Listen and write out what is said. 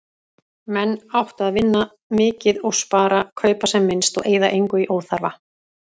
Menn áttu að vinna mikið og spara, kaupa sem minnst og eyða engu í óþarfa.